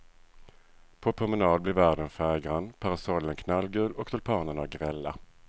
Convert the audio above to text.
På promenad blir världen färggrann, parasollen knallgul och tulpanerna grälla.